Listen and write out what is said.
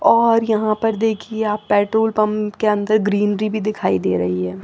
और यहां पर देखिए आप पेट्रोल पंप के अंदर ग्रीनरी भी दिखाई दे रही हैं।